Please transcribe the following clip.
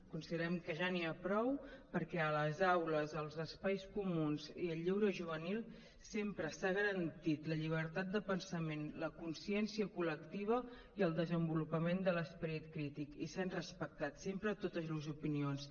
considerem que ja n’hi ha prou perquè a les aules als espais comuns i al lleure juvenil sempre s’ha garantit la llibertat de pensament la consciència col·lectiva i el desenvolupament de l’esperit crític i s’han respectat sempre totes les opinions